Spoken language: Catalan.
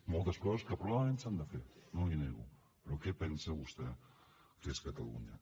moltes coses que probablement s’han de fer no l’hi nego però què pensa vostè que és catalunya